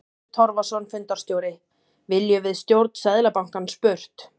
Hörður Torfason, fundarstjóri: Viljum við stjórn Seðlabankans burt?